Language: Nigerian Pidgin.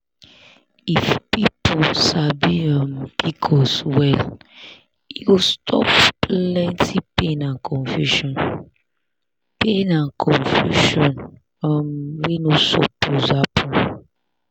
if people sabi um pcos well e go stop plenty pain and confusion pain and confusion um wey no suppose happen.